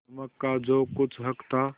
नमक का जो कुछ हक था